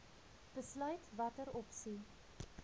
besluit watter opsie